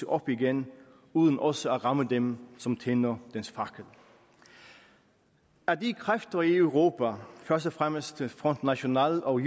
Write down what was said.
op igen uden også at ramme dem som tænder dens fakkel at de kræfter i europa først og fremmest front national og